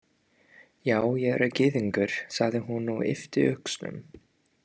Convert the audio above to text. Já, ég er gyðingur, sagði hún og yppti öxlum.